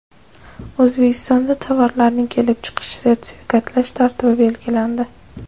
O‘zbekistonda tovarlarning kelib chiqishini sertifikatlash tartibi belgilandi.